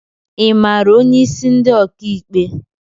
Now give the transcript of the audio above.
I mara onye isi ndi ọka ikpe?